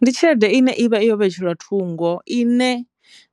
Ndi tshelede ine ivha yo vhetshelwa thungo ine